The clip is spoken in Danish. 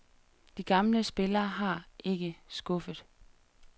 De gamle spillere har ikke skuffet.